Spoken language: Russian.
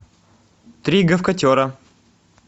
три гавкотера